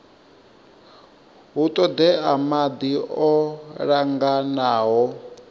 hu ṱoḓea maḓi o linganaho